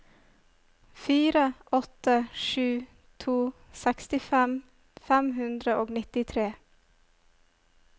fire åtte sju to sekstifem fem hundre og nittitre